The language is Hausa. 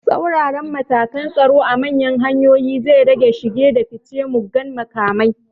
Tsaurara matakan tsaro a manyan hanyoyi zai rage shige da ficen mugan makamai